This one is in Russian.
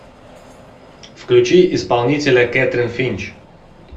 включи исполнителя кэтрин финч